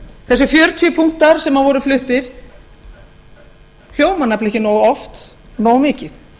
þessir fjörutíu punktar sem voru fluttir hljóma nefnilega ekki oft nógu mikið